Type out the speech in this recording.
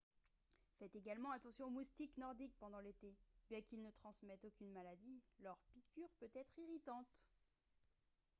faites également attention aux moustiques nordiques pendant l'été bien qu'ils ne transmettent aucune maladie leur piqûre peut être irritante